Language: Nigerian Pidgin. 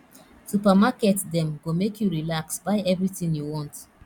supermarket dem go make you relax buy everytin you want